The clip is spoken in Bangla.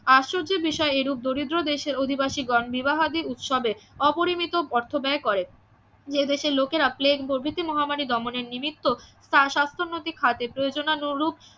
আশ্চর্যের বিষয় এইরূপ দরিদ্র দেশের অধিবাসীগণ বিবাহাদি উৎসবে অপরিমিত অর্থ ব্যয় করে এদেশের লোকেরা প্লেগ প্রভৃতি মহামারি দমনে নিমিত্ত তার সাস্থ্য নৈতিক খাদ্যের প্রয়োজনারূপ